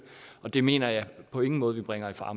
og det mener jeg på ingen måde vi bringer i fare